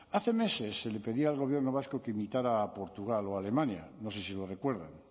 hace meses se le pedía al gobierno vasco que imitara a portugal o a alemania no sé si lo recuerdan